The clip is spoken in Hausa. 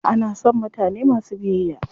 Ana son mutane masu biyayya.